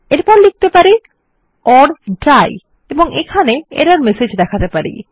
এরপর আমরা লিখতে পারি ওর ডাই এবং একটি এরর মেসেজ দেখাতে পারি